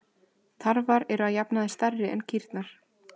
Tarfar eru að jafnaði stærri en kýrnar.